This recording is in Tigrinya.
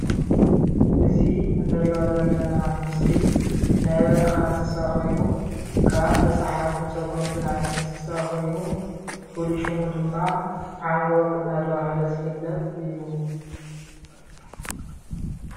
እዚ እንሪኦ ዘለና ምስሊ ናይ በረካ እንስሳ ኮይኑ ካብ ተስሓብትን ሰጎምትን ዓይነት እንስሳ ኮይኑ ፍሉይ ሽሙ ድማ ዓንጎግ እናተብሃለ ዝፍለጥ እዩ።